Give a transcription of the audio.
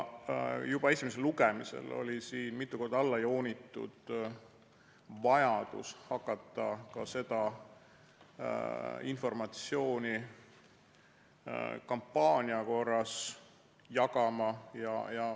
Juba esimesel lugemisel oli siin mitu korda alla joonitud vajadus hakata ka seda informatsiooni kampaania korras jagama.